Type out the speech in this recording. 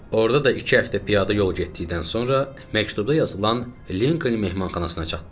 Orada da iki həftə piyada yol getdikdən sonra məktubda yazılan Linkoln mehmanxanasına çatdıq.